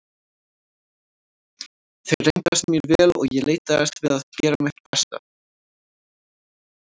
Þeir reyndust mér vel og ég leitaðist við að gera mitt besta.